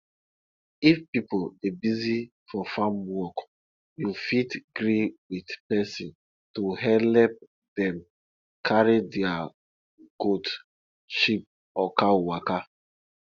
if pipo dey busy for farm work you fit gree with person to helep dem carry their goat sheep or cow waka